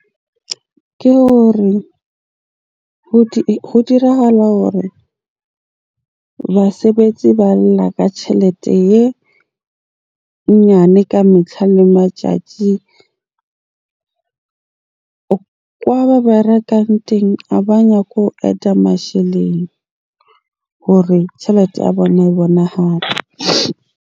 Ke hore ho dirahala hore basebetsi ba lla ka tjhelete e nyane ka metlha le matjatji. Kwa ba berekang teng a ba nyako add-a masheleng hore tjhelete ya bona e bonahale.